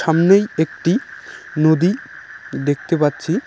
সামনেই একটি নদী দেখতে পাচ্ছি।